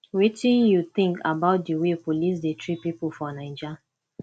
wetin you think about di way police dey treat people for naija